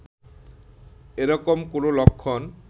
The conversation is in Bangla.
এরকম কোন লক্ষণ